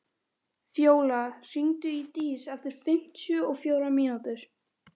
Fjóla, hringdu í Dís eftir fimmtíu og fjórar mínútur.